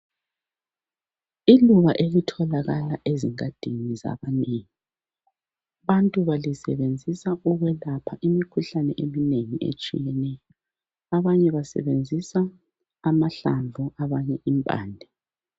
Iluba elitholakala ezingadini zabanengi abantu balisebenzisa ukwelapha imikhuhlane eminengi etshiyeneyo, abanye basebenzisa amahlamvu abanye impande.